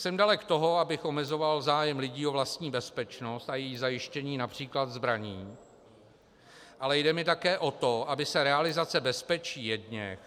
Jsem dalek toho, abych omezoval zájem lidí o vlastní bezpečnost a její zajištění například zbraní, ale jde mi také o to, aby se realizace bezpečí jedněch